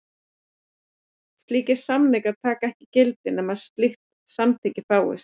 Slíkir samningar taka ekki gildi nema slíkt samþykki fáist.